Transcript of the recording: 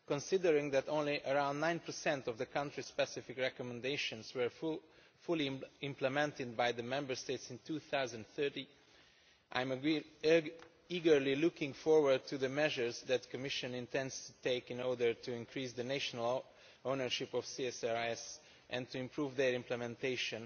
Considering that only around 9 of the country specific recommendations were fully implemented by the Member States in 2013, I am eagerly looking forward to the measures that the Commission intends to take in order to increase the national ownership of CSRs and to improve their implementation